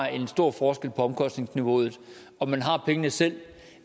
er en stor forskel på omkostningsniveauet om man har pengene selv